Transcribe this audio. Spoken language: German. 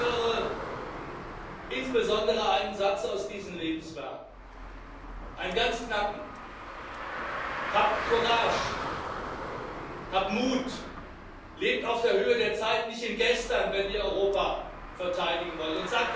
Ich höre insbesondere einen Satz aus diesen Lebenswerken, einen ganz knappen Habt Courage, habt Mut, lebt auf der Höhe der Zeit, nicht im Gestern, wenn ihr Europa verteidigen wollt!